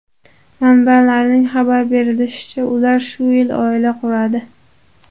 Manbalarning xabar berishicha, ular shu yil oila quradi.